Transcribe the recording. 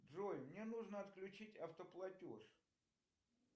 джой мне нужно отключить автоплатеж